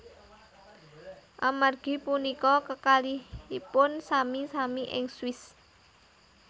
Amargi punika kekalihipun sami sami ing Swiss